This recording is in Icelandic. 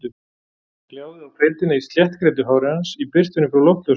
Það gljáði á feitina í sléttgreiddu hári hans í birtunni frá loftljósinu.